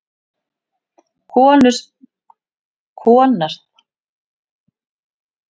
konar spurningar dynja á mér.